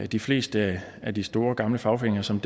de fleste af de store gamle fagforeninger som